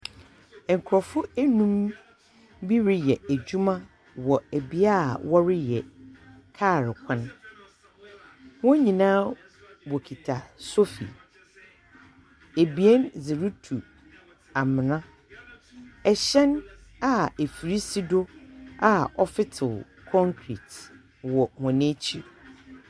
Nkorɔfo anum bi reyɛ adwuma wɔ ɛbeae wɔreyɛ kaal kwan. Wonyinaa wɔkita sofi. Abien dze retu amena. Ɛhyɛn a afiri si do, a ɔfetew kɔnkret wɔ wɔn akyiri.